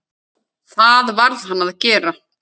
Það varð hann að gera.